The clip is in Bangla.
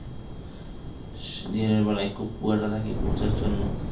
দিনের বেলাই খুব কুয়াশা থাকে কুয়াশাআচ্ছন্ন ।